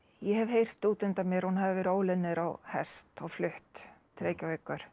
ég hef heyrt útundan mér að hún hafi verið óluð niður á hest og flutt til Reykjavíkur